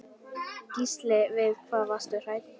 Gísli: Við hvað varstu hræddur?